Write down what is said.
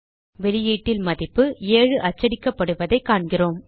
வெளியீட்டில் மதிப்பு 7 அச்சடிக்கப்படுவதைக் காண்கிறோம்